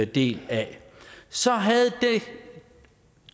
del af så havde det